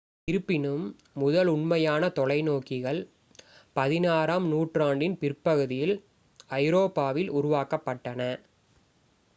இருப்பினும் முதல் உண்மையான தொலைநோக்கிகள் 16 ஆம் நூற்றாண்டின் பிற்பகுதியில் ஐரோப்பாவில் உருவாக்கப்பட்டன